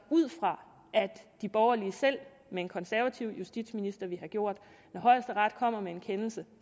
ud fra at de borgerlige med en konservativ justitsminister selv ville have gjort når højesteret kommer med en kendelse